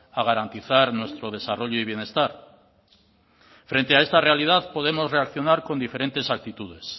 a garantizar nuestro desarrollo y bienestar frente a esta realidad podemos reaccionar con diferentes actitudes